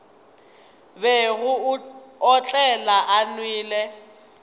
bego a otlela a nwele